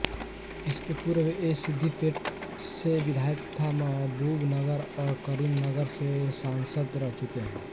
इसके पूर्व वे सिद्धिपेट से विधायक तथा महबूबनगर और करीमनगर से सांसद रह चुके हैं